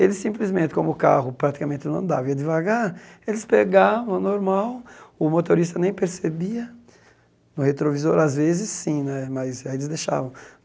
Eles simplesmente, como o carro praticamente não andava, ia devagar, eles pegavam normal, o motorista nem percebia, no retrovisor às vezes sim né, mas aí eles deixavam.